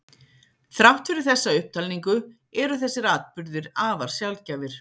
Þrátt fyrir þessa upptalningu eru þessir atburðir afar sjaldgæfir.